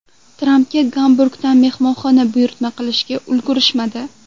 Trampga Gamburgdan mehmonxona buyurtma qilishga ulgurishmadi.